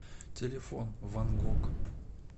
телефон ван гог